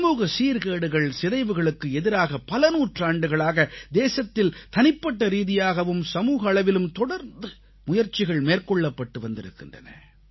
சமூக சீர்கேடுகள் சிதைவுகளுக்கு எதிராக பல நூற்றாண்டுகளாக தேசத்தில் தனிப்பட்ட ரீதியாகவும் சமூக அளவிலும் தொடர்ந்து முயற்சிகள் மேற்கொள்ளப்பட்டு வந்திருக்கின்றன